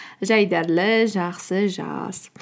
жайдарлы жақсы жаз